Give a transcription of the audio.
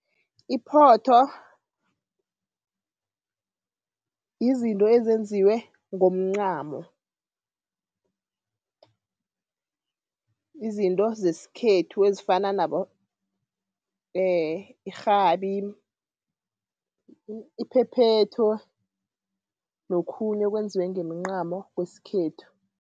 Iphotho, yizinto ezenziwe ngomncamo. Izinto zeskhethu ezifana nabo irhabi, iphephethu nokhunye okwenziwe ngemincamo kwesikhethu.